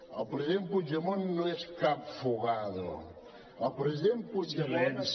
el president puigdemont no és cap fugado el president puigdemont